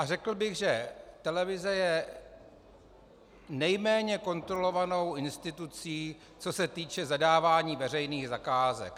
A řekl bych, že televize je nejméně kontrolovanou institucí, co se týče zadávání veřejných zakázek.